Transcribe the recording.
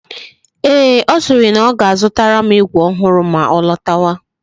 Ee, ọ siri na ọ ga-azutara m igwe ọhụrụ ma ọ lọtawa